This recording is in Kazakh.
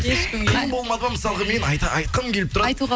ешкімге қиын болмады ма мысалғы мен айтқым келіп тұрады айтуға